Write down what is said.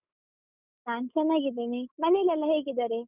ನಾನ್ ಚೆನ್ನಾಗಿದ್ದೀನಿ, ಮನೇಲೆಲ್ಲಾ ಹೇಗಿದ್ದಾರೆ?